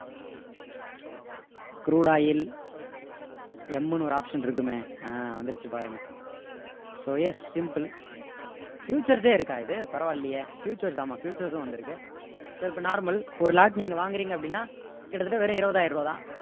crude oil M ன்னு ஒரு option இருக்குமே ஆஹ் வந்துடுச்சு பாருங்க so yes simple futures ஏ இருக்கா இது பரவால்லையே futures ஆமா futures வந்திருக்கு so இப்போ normal ஒரு lot நீங்க வாங்குறீங்க அப்படின்னா கிட்டத்தட்ட வெறும் இருவது ஆயிரம் ரூபா தான்